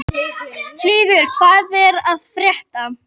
Hylur, hvað er að frétta?